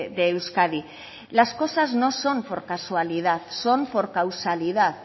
de euskadi las cosas no son por casualidad son por causalidad